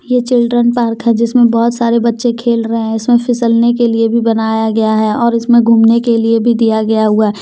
यह children park है जिसमें बहुत सारे बच्चे खेल रहे हैं इसमें फिसलने के लिए भी बनाया गया है और इसमें घूमने के लिए भी दिया गया हुआ है।